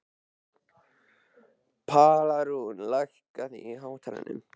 Pálrún, lækkaðu í hátalaranum.